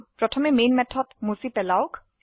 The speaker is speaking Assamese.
প্ৰথমে মেন মেথড মুছে পেলাওক